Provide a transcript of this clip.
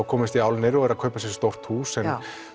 komust í álnir og eru að kaupa sér stórt hús en